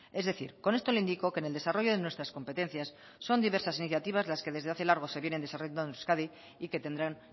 es decir con esto le indico que en el desarrollo de nuestras competencias son diversas iniciativas las que desde hace largo se vienen desarrollando en euskadi y que tendrán